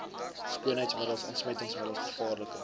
skoonheidsmiddels ontsmettingsmiddels gevaarlike